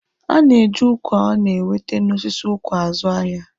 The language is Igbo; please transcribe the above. A na-eji ụkwa a na-ewete n'osisi ụkwa azụ ahịa